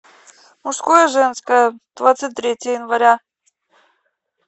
мужское женское двадцать третье января